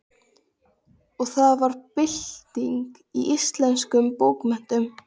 Og það varð bylting í íslenskum bókmenntum.